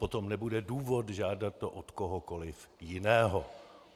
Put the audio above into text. Potom nebude důvod žádat to od kohokoli jiného.